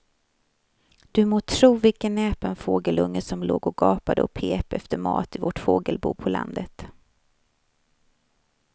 Du må tro vilken näpen fågelunge som låg och gapade och pep efter mat i vårt fågelbo på landet.